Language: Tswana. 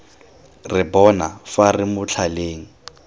re bona fa re motlhaleng